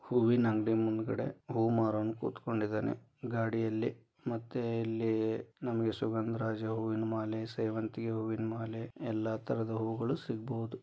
ಹೂವಿನ ಅಂಗಡಿ ಮುಂದ್ಗಡೆ ಹೂ ಮಾರೋನು ಕುತ್ಕೊಂಡಿದ್ದಾನೆ ಗಾಡಿಯಲ್ಲಿ ಮತ್ತೆ ಇಲ್ಲಿ ಸುಗಂಧರಾಜ ಹೂವಿನ ಮಾಲೆ ಸೇವಂತಿಯ ಹೂವಿನ ಮಾಲೆ ಎಲ್ಲ ತರಹದ ಹೂಗಳು ಸಿಗಬಹುದು.